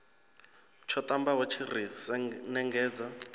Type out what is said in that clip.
tsho ṱambaho tshi ri sengenedza